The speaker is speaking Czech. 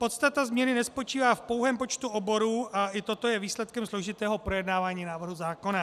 Podstata změny nespočívá v pouhém počtu oborů, a i toto je výsledkem složitého projednávání návrhu zákona.